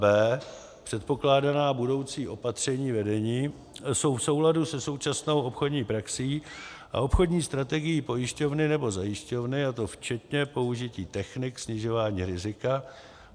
b) předpokládaná budoucí opatření vedení jsou v souladu se současnou obchodní praxí a obchodní strategií pojišťovny nebo zajišťovny, a to včetně použití technik snižování rizika;